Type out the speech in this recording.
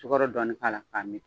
Tukoro dɔɔnin k'a la k'a min